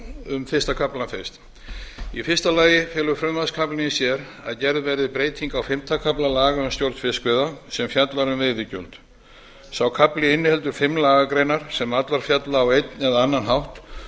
um fyrsta kaflann fyrst í fyrsta lagi felur frumvarpskaflinn í sér að gerð verði breyting á fimmta kafla laga um stjórn fiskveiða sem fjallar um veiðigjöld sá kafli inniheldur fimm lagagreinar sem allar fjalla á einn eða annan hátt